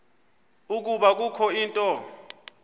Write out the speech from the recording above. ukuba kukho into